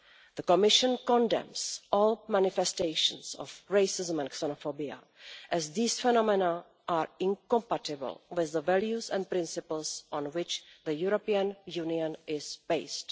The Commission condemns all manifestations of racism and xenophobia, as these phenomena are incompatible with the values and principles on which the European Union is based.